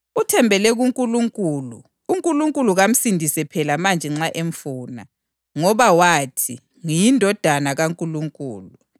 Uthembele kuNkulunkulu. UNkulunkulu kamsindise phela manje nxa emfuna, ngoba wathi, ‘NgiyiNdodana kaNkulunkulu.’ ”